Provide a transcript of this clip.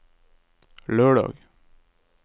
lørdag